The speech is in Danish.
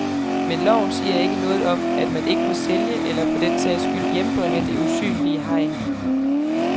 Men loven siger ikke noget om, at man ikke må sælge eller for den sags skyld hjembringe det usynlige hegn.